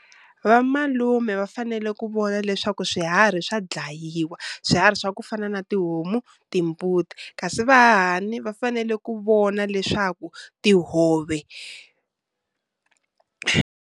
Vamalume va fanele ku vona leswaku swiharhi swa dlayiwa, swiharhi swa ku fana na tihomu, timbuti. Kasi vahahani va fanele ku vona leswaku tihove .